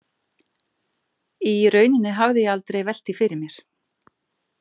Í rauninni hafði ég aldrei velt því fyrir mér.